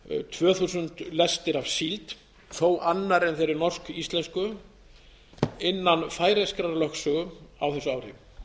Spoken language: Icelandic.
tvö þúsund lestir af síld þó annarri en þeirri norsk íslensk innan færeyskrar lögsögu á þessu ári